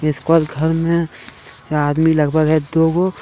इसके बाद घर में आदमी लगभग है दो वो --